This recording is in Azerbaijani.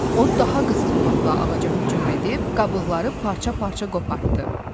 O daha qızğınlıqla ağaca hücum edib qabıqları parça-parça qopartdı.